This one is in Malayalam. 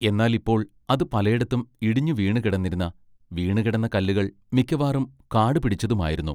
എന്നാൽ ഇപ്പോൾ അത് പലെടത്തും ഇടിഞ്ഞു വീണുകിടന്നിരുന്ന വീണുകിടന്ന കല്ലുകൾ മിക്കവാറും കാടുപിടിച്ചതുമായിരുന്നു.